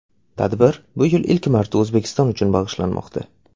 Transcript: Tadbir bu yil ilk marta O‘zbekiston uchun bag‘ishlanmoqda.